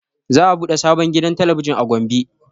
Za a ɓude sabon gidan talabijin a gombe